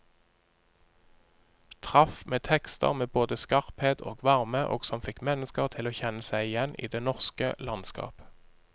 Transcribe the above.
Traff med tekster med både skarphet og varme, og som fikk mennesker til å kjenne seg igjen i det norske landskap.